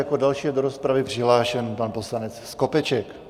Jako další je do rozpravy přihlášen pan poslanec Skopeček.